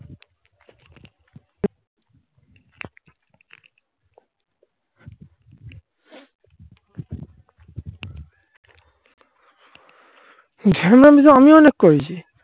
করতে পারে.